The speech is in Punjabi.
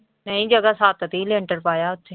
ਨਹੀਂ ਜਗ੍ਹਾ ਛੱਤ ਦਿੱਤੀ ਲੈਂਟਰ ਪਾਇਆ ਉੱਥੇ।